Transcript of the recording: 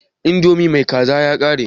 Indomi mai kaza ya rage?